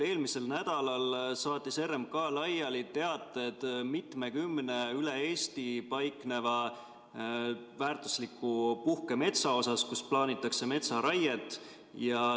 Eelmisel nädalal saatis RMK laiali teated mitmekümne üle Eesti paikneva väärtusliku puhkemetsa kohta, kus plaanitakse metsaraiet.